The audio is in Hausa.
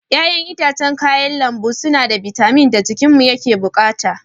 Ƴa'ƴan itãcen da kayan lambu suna da bitamin da jikinmu yake bukata.